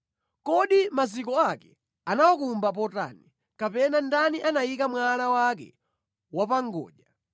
Kodi maziko ake anawakumba potani, kapena ndani anayika mwala wake wapangodya,